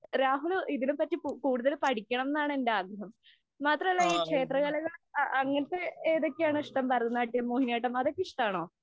രാഹുല് ഇതിനെ പറ്റി കൂടുതല് പഠിക്കണം എന്നാണ് എന്‍റെ ആഗ്രഹം. മാത്രമല്ല, ഈ ക്ഷേത്രകലകള്‍ അങ്ങനത്തെ ഏതൊക്കെയാണ് ഇഷ്ടം? ഭരതനാട്യം, മോഹിനിയാട്ടം. അതൊക്കെ ഇഷ്ടമാണോ?